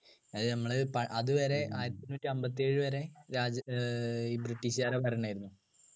അത് നമ്മളെ പ അതുവരെ ആയിരത്തിഎണ്ണൂറ്റിഅമ്പതിഏഴു വരെ രാജ് ഏർ british കാരുടെ ഭരണമായിരുന്നു